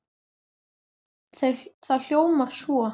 Það hljómar svo